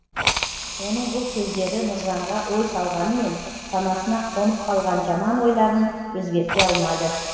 оның бұл сөздері нұржанға ой салғанымен санасына қонып қалған жаман ойларын өзгерте алмады